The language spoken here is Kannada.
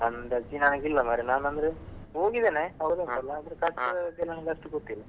ಅಂದಾಜಿ ನನಗಿಲ್ಲ ಮಾರ್ರೆ ನಾನಂದ್ರೆ ಹೋಗಿದ್ದೇನೆ ಆದ್ರೆ ಖರ್ಚು ನಂಗ್ ಅಷ್ಟು ಗೊತ್ತಿಲ್ಲ.